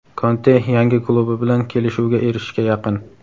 Konte yangi klubi bilan kelishuvga erishishga yaqin.